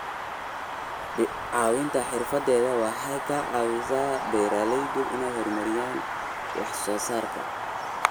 Caawinta xirfadeed waxay ka caawisaa beeralayda inay horumariyaan wax soo saarka.